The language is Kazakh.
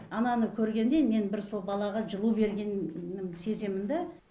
ананы көргенде мен бір сол балаға жылу бергенім сеземін да